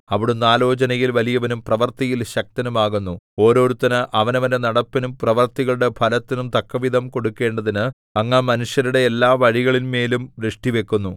അവിടുന്ന് ആലോചനയിൽ വലിയവനും പ്രവൃത്തിയിൽ ശക്തനും ആകുന്നു ഓരോരുത്തന് അവനവന്റെ നടപ്പിനും പ്രവൃത്തികളുടെ ഫലത്തിനും തക്കവിധം കൊടുക്കണ്ടതിന് അങ്ങ് മനുഷ്യരുടെ എല്ലാ വഴികളിന്മേലും ദൃഷ്ടിവക്കുന്നു